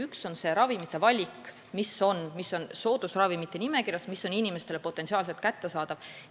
Üks on see ravimite valik, mis on soodusravimite nimekirjas ja mis on inimestele potentsiaalselt kättesaadavad.